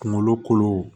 Kungolo kolow